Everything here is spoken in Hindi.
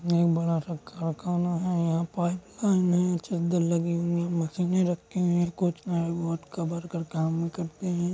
एक बड़ा सा कारखाना है। यहाँ पर पाइप लाइन है चद्दर लगी हुई हैं मशीनें रखी हुई हैं कुछ बोहोत का काम करते हैं।